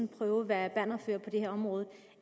prøve at være bannerfører på det her område